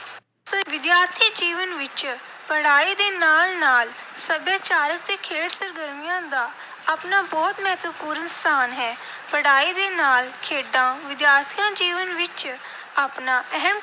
ਵਿਦਿਆਰਥੀ ਜੀਵਨ ਵਿੱਚ ਪੜ੍ਹਾਈ ਦੇ ਨਾਲ ਨਾਲ ਸੱਭਿਆਚਾਰਕ ਅਤੇ ਖੇਡ ਸਰਗਰਮੀਆਂ ਦਾ ਆਪਣਾ ਬਹੁਤ ਮਹੱਤਵਪੂਰਨ ਸਥਾਨ ਹੈ। ਪੜ੍ਹਾਈ ਦੇ ਨਾਲ ਖੇਡਾਂ ਵਿਦਿਆਰਥੀ ਜੀਵਨ ਵਿੱਚ ਆਪਣਾ ਅਹਿਮ